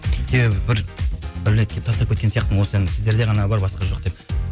себебі тастап кеткен сияқтымын осы әнді сіздерде ғана бар басқа жоқ деп